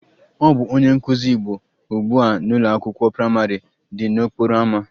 Ọ bụ onye nkụzi Igbo ugbu a n'ụlọ akwụkwọ praịmarị dị n'okporo ámá